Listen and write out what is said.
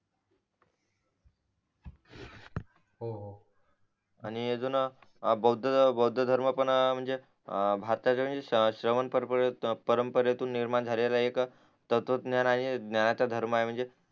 हो हो आणि अजून भौध्ये धर्म पण म्हणजे अं परंपरेतून निर्माण झालेला एक तत्वत ज्ञान आहे ज्ञानाचा धर्म आहे म्हणजे